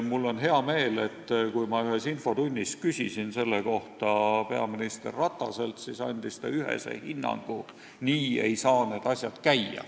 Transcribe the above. Mul on hea meel, et kui ma ühes infotunnis küsisin selle kohta peaminister Rataselt, siis ta andis ühese hinnangu, et nii ei saa need asjad käia.